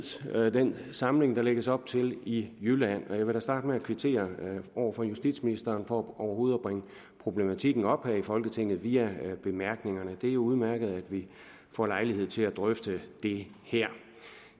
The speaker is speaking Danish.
den samling der lægges op til i jylland jeg vil da starte med at kvittere over for justitsministeren for overhovedet at bringe problematikken op her i folketinget via bemærkningerne det er udmærket at vi får lejlighed til at drøfte det her